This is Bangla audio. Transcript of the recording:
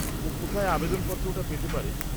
ও কোথায় আবেদন পত্রটা পেতে পারে?